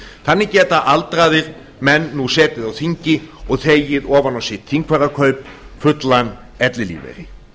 þannig geta aldraðir menn nú setið á þingi og þegið ofan á sitt þingfararkaup fullan ellilífeyri